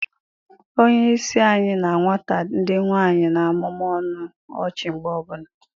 Onye isi anyị na nwata ndị nwanyi na-amụmụ ọnụ ọchị mgbe niile